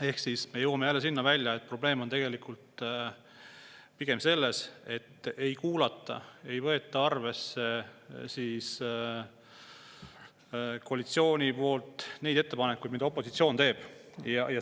Ehk siis me jõuame jälle välja sinna, et probleem on tegelikult pigem selles, et ei kuulata, ei võeta arvesse koalitsiooni poolel neid ettepanekuid, mida opositsioon teeb.